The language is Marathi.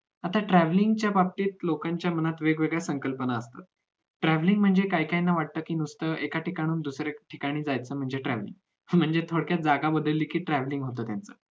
आता travelling च्या बाबतीत लोकांच्या मनात वेगवेगळ्या संकल्पना असतात travelling म्हणजे काही काहीना वाटत की नुसतं एका ठिकाणाहून दुसऱ्या ठिकाणी जायचं म्हणजे travelling म्हणजे थोडक्यात जागा बदलीकी कि travelling होतं म्हणे